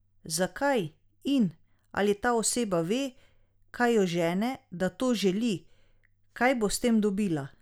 Zakaj, in ali ta oseba ve, kaj jo žene, da to želi, kaj bo s tem dobila?